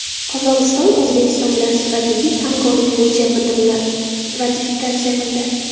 Qozog‘iston O‘zbekiston bilan strategik hamkorlik bo‘yicha bitimni ratifikatsiya qildi.